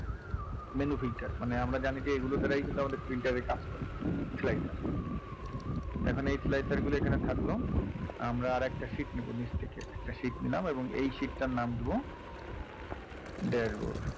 menu filter মানে আমরা জানি যে এগুলো দাঁড়াই কিন্তু আমাদের filter এর কাজ হয় slicer এখন এই slicer গুলো এখানে থাকলো আমরা আর একটা sheet নেবো নিচ থেকে একটা sheet নিলাম এবং এই sheet টার নাম দেবো dashboard